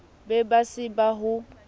be ba se ba ho